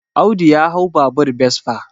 Audu ya hau babur besfa